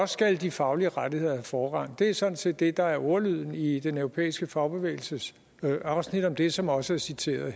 skal de faglige rettigheder have forrang det er sådan set det der er ordlyden i den europæiske fagbevægelses afsnit om det som også er citeret